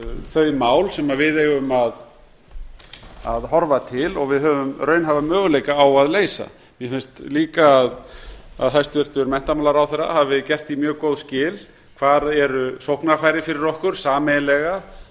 þau mál sem við eigum að horfa til og við höfum raunhæfa möguleika á að leysa mér finnst líka að hæstvirtur menntamálaráðherra hafi gert því mjög góð skil hvar eru sóknarfæri fyrir okkur sameiginlega það